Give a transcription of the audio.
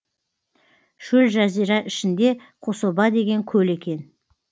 шөл жазира ішінде қособа деген көл екен